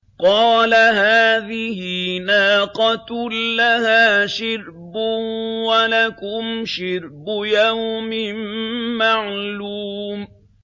قَالَ هَٰذِهِ نَاقَةٌ لَّهَا شِرْبٌ وَلَكُمْ شِرْبُ يَوْمٍ مَّعْلُومٍ